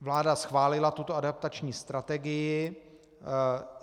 Vláda schválila tuto adaptační strategii.